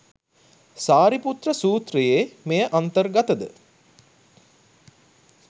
සාරිපුත්‍ර සූත්‍රයේ මෙය අන්තර් ගතද?